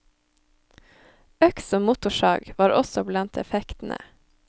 Øks og motorsag var også blant effektene.